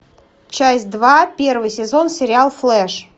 часть два первый сезон сериал флеш